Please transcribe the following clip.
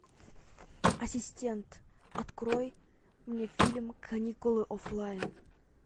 ассистент открой мне фильм каникулы оффлайн